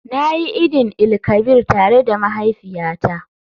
Na yi idin-il-kabir tare da mahaifiyata.